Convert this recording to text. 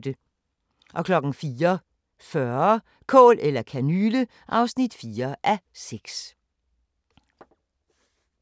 04:40: Kål eller kanyle (4:6)